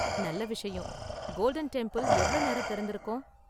நல்ல விஷயம். Golden Temple எவ்ளோ நேரம் திறந்திருக்கும்?